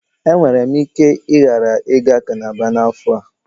E nwere m ike ghara iga cálábá na afo a